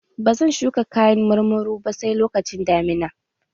Ba zan shuka kayan marmaru ba sai lokacin damina.